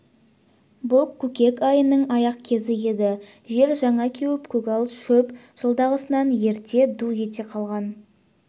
бұл көкек айының аяқ кезі еді жер жаңа кеуіп көгал шөп жылдағысынан ерте ду ете қалған